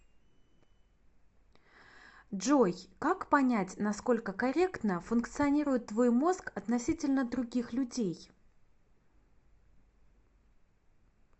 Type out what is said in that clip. джой как понять насколько корректно функционирует твой мозг относительно других людей